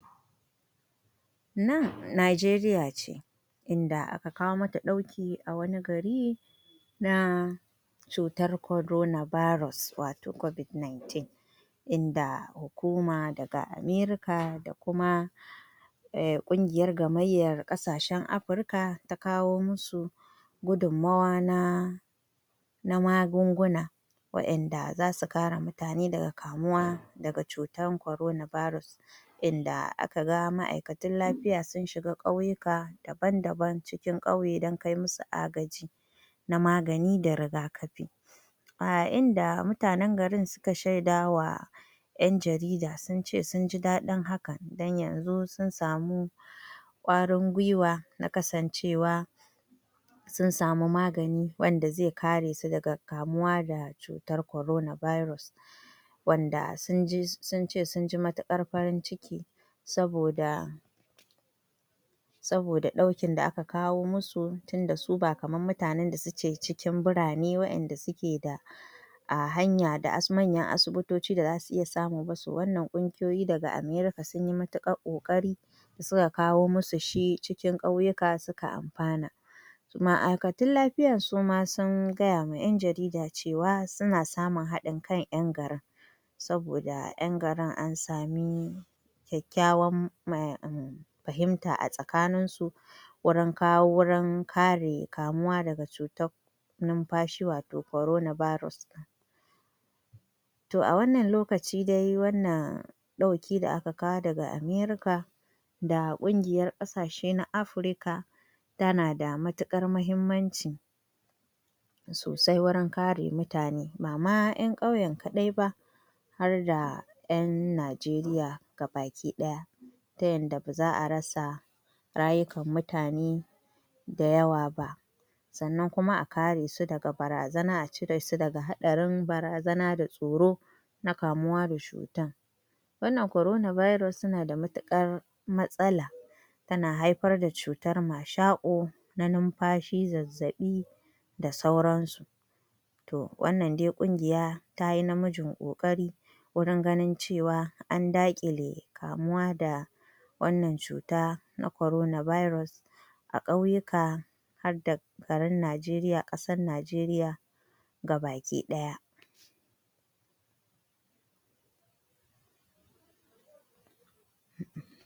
Cutar coronavirus kowa ya san cewa cuta ce ta mashako mai matuƙar illa wanda tana kama huhu da wurin numfashi mutum wanda hakan in ta faru, za a iya rasa rayuka Toh wannan dai a ƙasar Najeriya ne nan inda masu ɗakin shan magani, ma’aikatan ciki suke ƙokawa da su da al’umma a wurin a kan maganin kwantar ko magance cutar coronavirus. Nan inda shi wannan ma’aikacin lafiya yake magana cewa waɗannan magunguna da ake amfani da su wurin warkar da cutar coronavirus sun yi ƙaranci saboda ana rasa su Saboda waɗanda suke da ƙarfi na hana cutar yaduwa ba a samun su da sauƙi, saboda yawanci ana kawo su ne daga China, daga India, daga ƙasar Amurka toh sun dan yi wahala a kwana biyun nan Toh yanzu suna kiran gwamnati da su san yadda za a taimaka musu domin waɗannan magunguna su zo hannu, domin a ceci al’umma saboda rayukan al’umma yana da matuƙar muhimmanci, Sannan da lafiya za a iya yin komai Sannan ita wannan cuta takan yadu da gaggawa toh dole ana da buƙatar magunguna kuma magungunan nan sun yi ƙaranci toh ana neman ta yadda za'ayi a kawo ɗauki a wannan gari na Lagos musamman duba da yanayin gari na lagos kowa ya san cewa gari ne mai yawan al’umma da cunkoso Toh kuma ba a son yaduwar wannan cutar ta yi yawa Saboda haka ana kira ga gwamnati da ma’aikatu masu zaman kansu da su taimaka su kawo ɗauki a garin Lagos ta yadda cutar ba za ta ci gaba da yaduwa ba, a samu maslaha Wannan cutar tana da matuƙar tana da matuƙar illa ga mutane ba yara kaɗai ba, har da manya da tsofaffi Toh kuma gaskiya ana buƙatar agaji, agajin ma kuma na gaggawa wanda za a iya taimakon mutane da su.